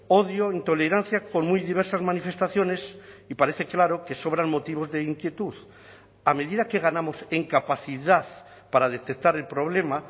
odio o intolerancia con muy diversas manifestaciones y parece claro que sobran motivos de inquietud a medida que ganamos en capacidad para detectar el problema